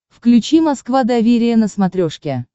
включи москва доверие на смотрешке